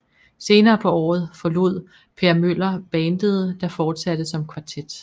Senere på året forlod Per Møller bandet der fortsatte som kvartet